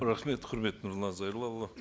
рахмет құрметті нұрлан зайроллаұлы